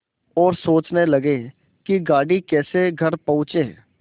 और सोचने लगे कि गाड़ी कैसे घर पहुँचे